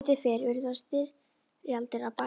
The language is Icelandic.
Sem betur fer eru þær styrjaldir að baki.